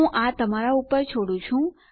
હું આ તમારા પર છોડું છું